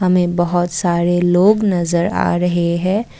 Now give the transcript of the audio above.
हमें बहोत सारे लोग नजर आ रहे है।